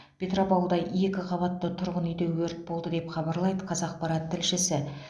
петропавлда екі қабатты тұрғын үйде өрт болды деп хабарлайды қазақпарат тілшісі